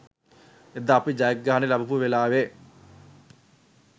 එදා අපි ජයග්‍රහණය ලබපු වෙලාවෙ